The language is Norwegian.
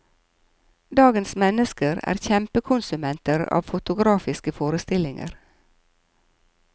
Dagens mennesker er kjempekonsumenter av fotografiske forestillinger.